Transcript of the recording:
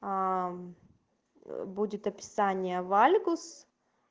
аа будет описание вальгус